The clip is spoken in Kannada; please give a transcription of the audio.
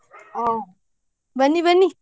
ಹ್ಮ್ ಬನ್ನಿ ಬನ್ನಿ.